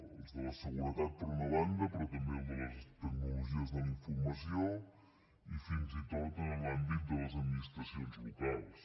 als de la seguretat per una banda però també al de les tecnologies de la informació i fins i tot en l’àmbit de les administracions locals